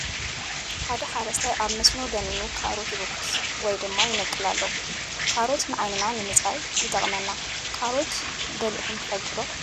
ሓደ ሓረስታይ ኣብ መስኖ ደኒኑ ካሮት ይብቁስ ወይ ድማ ይነቅል ኣሎ ። ካሮት ዓይንና ንምፅራይ ይጠቅመና ።ካሮት በሊዕኩም ትፈልጡ ዶ?